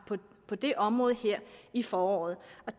på det område her i foråret